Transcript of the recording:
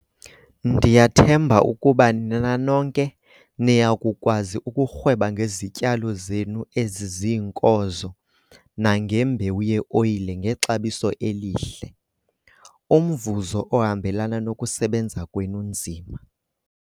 Ndiyathemba ukuba nina nonke niya kukwazi ukurhweba ngezityalo zenu eziziinkozo nangembewu ye-oyile ngexabiso elihle - umvuzo ohambelana nokusebenza kwenu nzima.